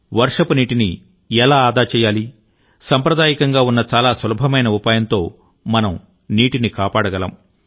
వర్షపునీటిని ఎలా ఆదా చేయాలి సాంప్రదాయికంగా ఉన్న చాలా సులభమైన ఉపాయంతో మనం నీటిని కాపాడగలం